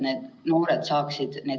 Nii et loodame, et eksamid ikkagi toimuvad.